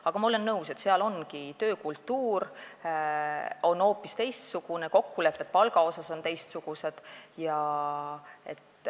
Aga ma olen nõus, et seal on töökultuur hoopis teistsugune, palgakokkulepped on teistsugused.